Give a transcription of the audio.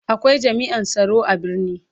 Akwai jami'an tsaro a birni.